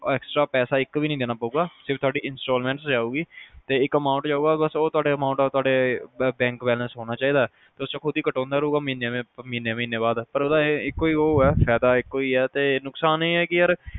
extra ਪੈਸਾ ਇੱਕ ਵੀ ਨਹੀਂ ਦੇਣਾ ਪਵੇਗਾ ਸਿਰਫ ਤੁਹਾਡੀ installments ਜਾਊਗੀ ਤੇ ਇਕ amount ਜਾਊਗਾ ਬਸ ਉਹ amount ਤੁਹਾਡੇ bank balance ਹੋਣਾ ਚਾਹੀਦਾ ਆ ਤੁਸੀਂ ਉਹ ਖੁਦ੍ਹ ਹੀ cutowner ਮਹੀਨੇ ਮਹੀਨੇ ਬਾਅਦ ਪਰ ਉਹਦਾ ਇਕੋ ਹੀ ਉਹ ਹੈ ਫਾਇਦਾ ਇਕੋ ਹੀ ਆ ਤੇ ਨੁਕਸਾਨ ਇਹ ਆ ਕੇ ਯਾਰ